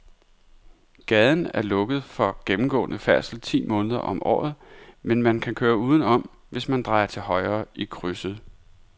Gaden er lukket for gennemgående færdsel ti måneder om året, men man kan køre udenom, hvis man drejer til højre i krydset.